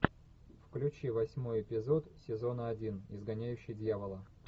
включи восьмой эпизод сезона один изгоняющий дьявола